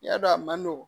Yadɔ a man nɔgɔn